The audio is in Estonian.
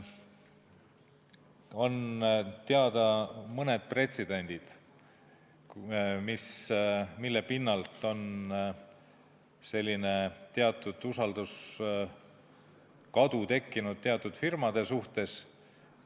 On teada mõned pretsedendid, mille pinnalt selline usalduse kadu on teatud firmade suhtes tekkinud.